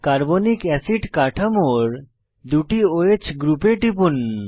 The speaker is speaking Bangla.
কার্বনিক অ্যাসিড কাঠামোর দুটি ওহ গ্রুপে টিপুন